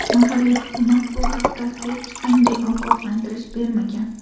Mahalliy hukumat bu haqda hech qanday ogohlantirish bermagan.